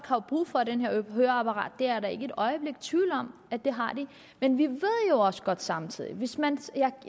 har brug for det her høreapparat det er jeg da ikke et øjeblik i tvivl om at de har men vi ved jo også godt samtidig at hvis man